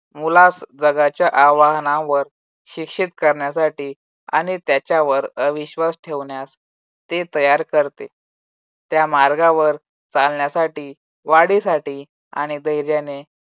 मुलास जगाच्या आव्हानावर शिक्षित करण्यासाठी आणि त्याच्यावर अविश्वास ठेवण्यास ते तयार करते. त्या मार्गावर चालण्यासाठी वाढीसाठी आणि धैर्याने